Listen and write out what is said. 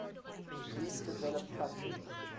least developed countries